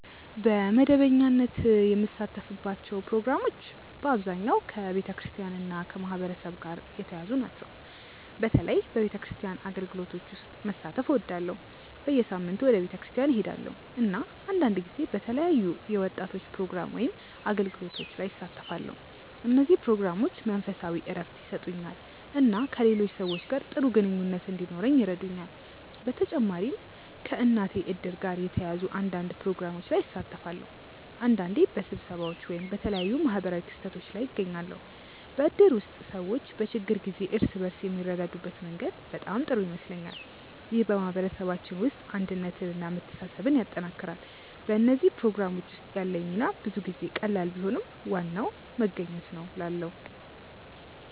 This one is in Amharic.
በመደበኛነት የምሳተፍባቸው ፕሮግራሞች በአብዛኛው ከቤተክርስቲያን እና ከማህበረሰብ ጋር የተያያዙ ናቸው። በተለይ በቤተክርስቲያን አገልግሎቶች ውስጥ መሳተፍ እወዳለሁ። በየሳምንቱ ወደ ቤተክርስቲያን እሄዳለሁ፣ እና አንዳንድ ጊዜ በተለያዩ የወጣቶች ፕሮግራሞች ወይም አገልግሎቶች ላይ እሳተፋለሁ። እነዚህ ፕሮግራሞች መንፈሳዊ እረፍት ይሰጡኛል እና ከሌሎች ሰዎች ጋር ጥሩ ግንኙነት እንዲኖረኝ ይረዱኛል። በተጨማሪም ከእናቴ እድር ጋር የተያያዙ አንዳንድ ፕሮግራሞች ላይ እሳተፋለሁ። አንዳንዴ በስብሰባዎች ወይም በተለያዩ ማህበራዊ ክስተቶች ላይ እገኛለሁ። በእድር ውስጥ ሰዎች በችግር ጊዜ እርስ በርስ የሚረዳዱበት መንገድ በጣም ጥሩ ይመስለኛል። ይህ በማህበረሰባችን ውስጥ አንድነትን እና መተሳሰብን ያጠናክራል። በእነዚህ ፕሮግራሞች ውስጥ ያለኝ ሚና ብዙ ጊዜ ቀላል ቢሆንም ዋናው መገኘት ነው እላለ